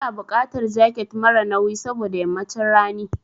Ina buƙatar jaket mara nauyi saboda yammacin rani.